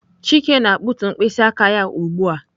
Chike na-akpụtu mkpịsị aka ya ugbu a.